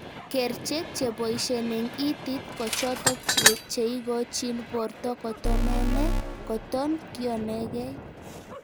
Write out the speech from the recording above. Kerchek cheboishen eng itit ko chotok cheikochin borto kotemenee koton kionegeii